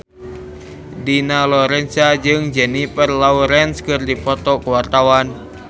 Dina Lorenza jeung Jennifer Lawrence keur dipoto ku wartawan